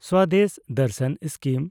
ᱥᱚᱫᱮᱥ ᱫᱮᱱᱰᱥᱟᱱ ᱥᱠᱤᱢ